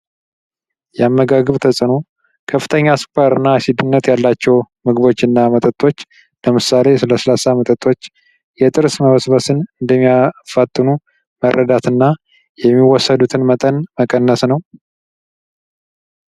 የአመጋገብ ተዕኖ ከፍተኛ ስኳርና ሴትነት ያላቸው ምግቦችና መጠጦች ለምሳሌ ለስላሳ መጠጦች የጥርስ መበስበስን እንደሚያፋጥኑ መረዳትና የሚወሰዱትን መጠን መቀነስ ነው።